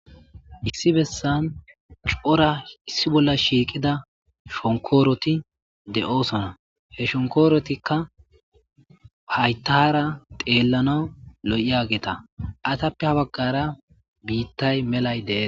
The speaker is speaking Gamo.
Issi bessan cora issi bolla shiiqida shonkooroti de'osona he shonkorotikka haytara teellana lo'i ageta atappe ha baggara biittay melay deese.